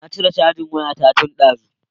Na cire cajin waya ta tun dazu